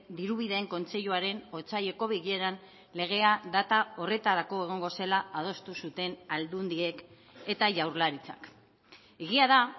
dirubideen kontseiluaren otsaileko bileran legea data horretarako egongo zela adostu zuten aldundiek eta jaurlaritzak egia da